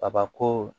Kabako